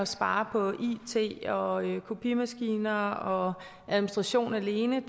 spare på it og kopimaskiner og administration alene